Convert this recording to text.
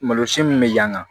Malosi min bɛ yan